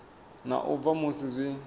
na u bva musi zwi